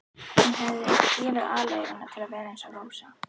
Hún hefði gefið aleiguna til að vera eins og Rósa.